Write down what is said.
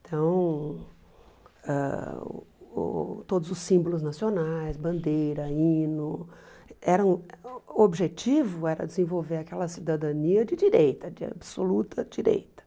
Então, ãh uh todos os símbolos nacionais, bandeira, hino, eram o objetivo era desenvolver aquela cidadania de direita, de absoluta direita.